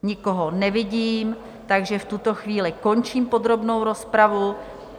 Nikoho nevidím, takže v tuto chvíli končím podrobnou rozpravu.